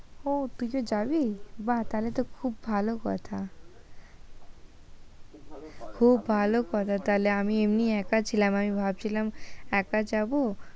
ও তুই যে যাবি, বাহ্ তাহলে তো খুব ভালো কথা খুব ভালো কথা তাহলে, আমি এমনি একা ছিলাম, আমি ভাবছিলাম একা যাব,